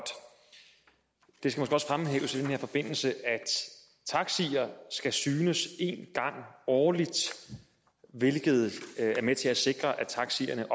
det skal også fremhæves i den her forbindelse at taxier skal synes en gang årligt hvilket er med til at sikre at taxierne